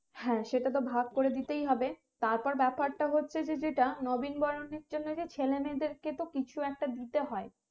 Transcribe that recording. হ্যাঁ সেটা তো ভাগ করে দিতেই হবে তারপর ব্যাপারটা হচ্ছে যে যেটা নবীন বরণের জন্য যে ছেলেমেয়েদেরকে তো কিছু একটা দিতে হয়